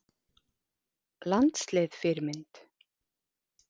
Landslið Fyrirmynd?